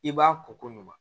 I b'a ko ko ɲuman